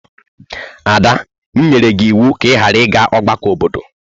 Ada, m nyere gi iwu ka i ghara iga ọgbakọ obodo!